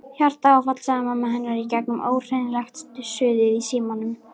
Hjartaáfall sagði mamma hennar í gegnum ógreinilegt suðið í símanum.